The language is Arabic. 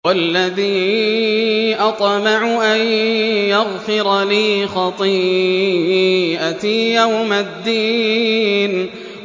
وَالَّذِي أَطْمَعُ أَن يَغْفِرَ لِي خَطِيئَتِي يَوْمَ الدِّينِ